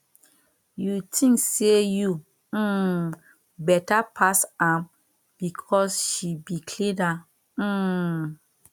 you tink sey you um beta pass am because she be cleaner um